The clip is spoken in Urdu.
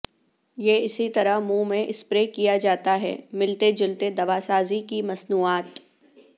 یہ اسی طرح منہ میں اسپرے کیا جاتا ہے ملتے جلتے دواسازی کی مصنوعات